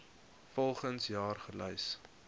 volgens jaar gelys